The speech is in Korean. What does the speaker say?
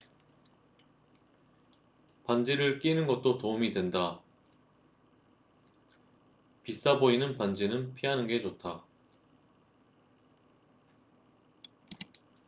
반지를 끼는 것도 도움이 된다비싸 보이는 반지는 피하는 게 좋다